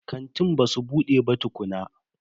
Kantin basu bude ba tukunna.